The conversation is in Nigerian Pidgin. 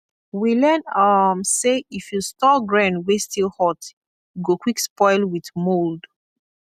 we learn um say if you store grain wey still hot e go quick spoil with mould